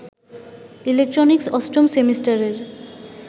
electronics অষ্টম সেমিস্টারের